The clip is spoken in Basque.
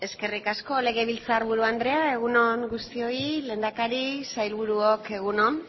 eskerrik asko legebiltzarburu andrea egun on guztioi lehendakari sailburuok egun on